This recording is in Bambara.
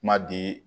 Kuma di